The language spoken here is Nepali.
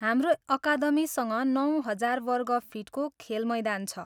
हाम्रो अकादमीसँग नौ हजार वर्ग फिटको खेलमैदान छ।